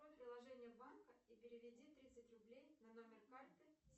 открой приложение банка и переведи тридцать рублей на номер карты